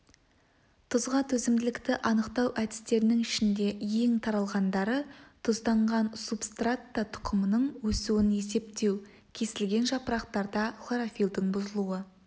тұзға төзімділікті анықтау әдістерінің ішінде ең таралғандары тұзданған субстратта тұқымның өсуін есептеу кесілген жапырақтарда хлорофилдің бұзылу